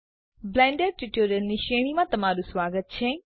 Blender ટ્યુટોરીયલોની શ્રેણીમાં તમારું સ્વાગત છે